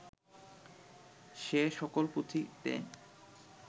সে সকল পুঁথিতে